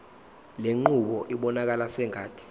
lenqubo ibonakala sengathi